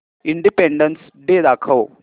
independence day दाखव